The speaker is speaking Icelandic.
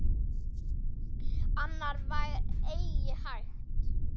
Annað var eigi hægt.